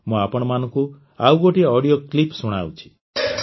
ମୁଁ ଆପଣମାନଙ୍କୁ ଆଉ ଗୋଟିଏ ଅଡିଓ କ୍ଲିପ୍ ଶୁଣାଉଛି